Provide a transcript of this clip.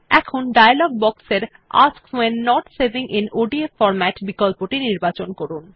এখন dialog box এর ask when not saving in ODF formatবিকল্পটি নির্বাচন করুন